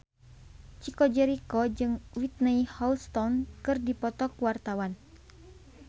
Chico Jericho jeung Whitney Houston keur dipoto ku wartawan